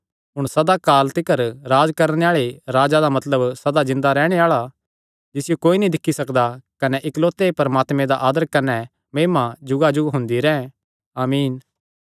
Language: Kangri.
हुण सदा काल तिकर राज्ज करणे आल़ा राजा मतलब सदा जिन्दा रैहणे आल़ा जिसियो कोई नीं दिक्खी सकदा कने इकलौते परमात्मे दा आदर कने महिमा जुगाजुग हुंदी रैंह् आमीन